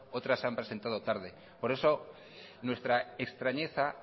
otras se han presentado tarde por eso nuestra extrañeza